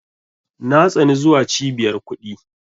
Na tsani zuwa Cibiyar kuɗi.